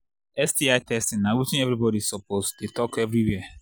sti testing na watin everybody suppose the talk everywhere